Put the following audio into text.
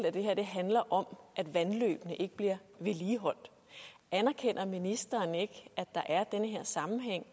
at det her handler om at vandløbene ikke bliver vedligeholdt anerkender ministeren ikke at der er den her sammenhæng